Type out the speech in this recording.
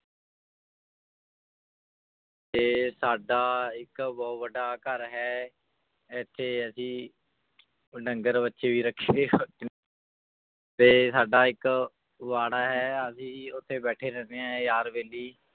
ਤੇ ਸਾਡਾ ਇੱਕ ਬਹੁਤ ਵੱਡਾ ਘਰ ਹੈ ਇੱਥੇ ਅਸੀਂ ਡੰਗਰ ਵੱਛੇ ਵੀ ਰੱਖੇ ਹੋਏ ਨੇ ਤੇ ਸਾਡਾ ਇੱਕ ਬਾੜਾ ਹੈ ਅਸੀਂ ਉੱਥੇ ਬੈਠੇ ਰਹਿੰਦੇ ਹਾਂ ਯਾਰ ਬੈਲੀ